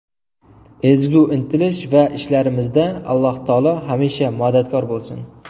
Ezgu intilish va ishlarimizda Alloh taolo hamisha madadkor bo‘lsin!